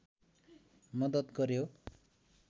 मद्दत गर्‍यो